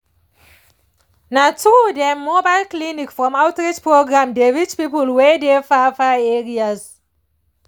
na true dem mobile clinics from outreach programs dey reach people wey dey far far areas